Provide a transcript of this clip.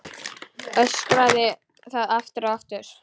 Öskraði það aftur og aftur.